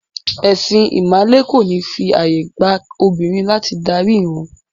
Ẹ̀sìn ìmàle kò ní fi ààyè gba obìnrin láti darí ìrun.